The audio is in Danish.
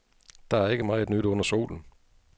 Der er ikke meget nyt under solen.